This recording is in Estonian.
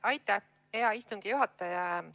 Aitäh, hea istungi juhataja!